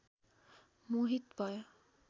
मोहित भयो